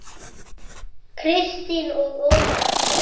Kristín og Ómar.